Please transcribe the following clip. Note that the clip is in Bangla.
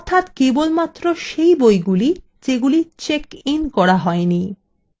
অর্থাত কেবলমাত্র সেই বইগুলি যেগুলি checked in করা হয়নি